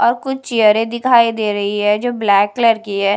और कुछ चेयरें दिखाई दे रही है जो ब्लैक कलर की है।